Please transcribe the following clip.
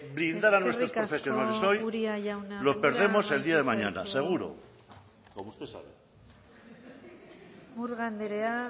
blindar a nuestros profesionales hoy eskerrik asko uria jauna los perdemos el día de mañana seguro como usted sabe murga andrea